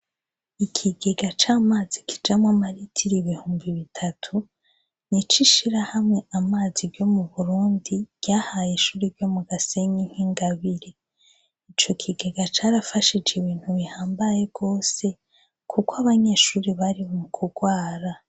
Ikigega c'amazi kijamwo amaritiro ibihumbi bitatu nico ishirahamwe "amazi" ryo mu burundi ryahaye ishure ryo mu Gasenyi nk'ingabire. Ico kigega carafashije ibintu bihambaye rwose kuko abanyeshure bari mu kugwara.